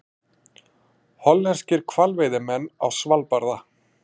Hollenskir hvalveiðimenn á Svalbarða.